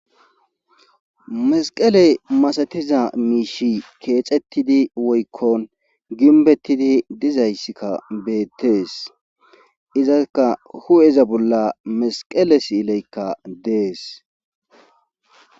mesqeley masatiza miishi keexettidi woykkon ginbettidi dizayssikka beettees izaka hu7eza bolla mesqele siileykka dees